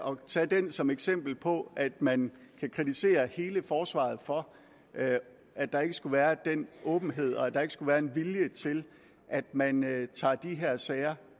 og tage den som eksempel på at man kan kritisere hele forsvaret for at der ikke skulle være den åbenhed og at der ikke skulle være en vilje til at man tager de her sager